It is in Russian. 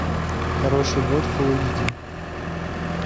хороший год фулл эйч ди